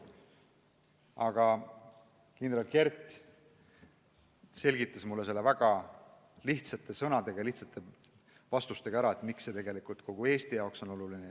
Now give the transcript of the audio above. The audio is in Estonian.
Aga kindral Kert selgitas väga lihtsate sõnadega ja lihtsaid vastuseid andes ära, miks see tegelikult kogu Eesti jaoks oluline on.